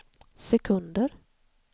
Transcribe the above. sekunder